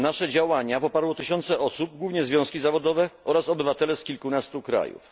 Nasze działania poparły tysiące osób, głównie związki zawodowe oraz obywatele z kilkunastu krajów.